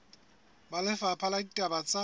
ba lefapha la ditaba tsa